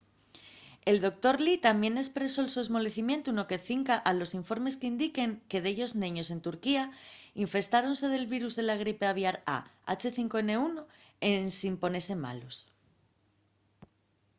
el doctor lee tamién espresó’l so esmolecimientu no que cinca a los informes qu’indiquen que dellos neños en turquía infestáronse del virus de la gripe aviar a h5n1 ensin ponese malos